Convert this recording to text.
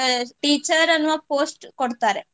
teacher ಅನ್ನುವ post ಕೊಡ್ತಾರೆ.